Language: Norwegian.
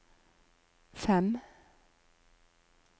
fem